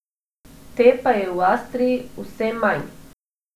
Te pa je v Avstriji vse manj.